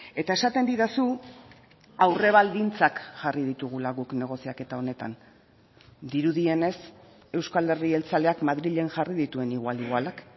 eta esaten didazu aurrebaldintzak jarri ditugula guk negoziaketa honetan dirudienez euzko alderdi jeltzaleak madrilen jarri dituen igual igualak